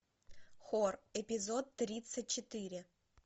хор эпизод тридцать четыре